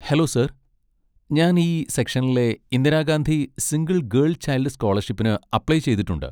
Hello sir, ഞാൻ ഈ സെക്ഷനിലെ Indira Gandhi single girl child സ്കോളർഷിപ്പിന് apply ചെയ്തിട്ടുണ്ട്.